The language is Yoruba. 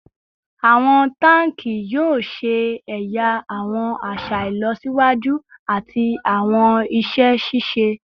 Awọn tanki yoo ṣe ẹya awọn aṣa ilọsiwaju ati awọn iṣẹ ṣiṣe